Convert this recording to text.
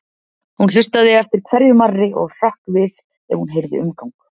Hún hlustaði eftir hverju marri og hrökk við ef hún heyrði umgang.